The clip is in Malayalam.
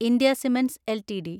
India cements LTD